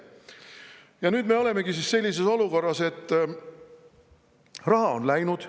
Ja nüüd me olemegi siis sellises olukorras, et raha on läinud.